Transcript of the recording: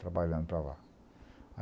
Trabalhando para lá.